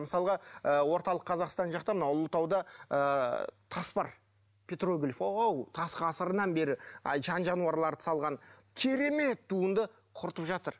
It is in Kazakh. мысалға ы орталық қазақстан жақта мынау ұлытауда ы тас бар петроглиф тас ғасырынан бері жан жануарларды салған керемет туынды құртып жатыр